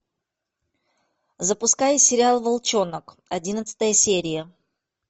запускай сериал волчонок одиннадцатая серия